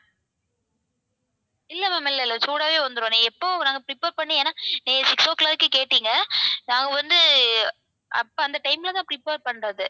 இல்ல ma'am இல்ல இல்ல சூடாவே வந்துரும் நீங்க எப்போ நாங்க prepare பண்ணி ஏன்னா நீங்க six o'clock க்கு கேட்டீங்க நாங்க வந்து அப்போ அந்த time ல தான prepare பண்றது